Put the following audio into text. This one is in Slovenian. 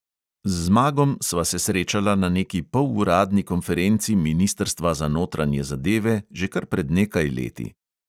Z zmagom sva se srečala na neki poluradni konferenci ministrstva za notranje zadeve že kar pred nekaj leti.